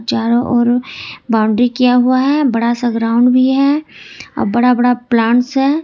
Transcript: चारों ओर बाउंड्री किया हुआ है बड़ा सा ग्राउंड भी है और बड़ा बड़ा प्लांट्स है।